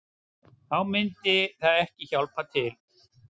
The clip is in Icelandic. Þá myndi það ekki hjálpa til